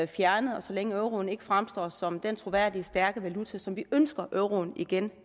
fjernet og så længe euroen ikke fremstår som den troværdige stærke valuta som vi ønsker at euroen igen